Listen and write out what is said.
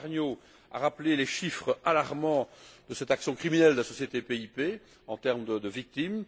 Gilles Pargneaux a rappelé les chiffres alarmants de cette action criminelle de la société PIP en termes de victimes.